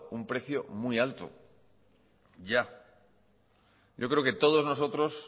un precio muy alto ya yo creo que todos nosotros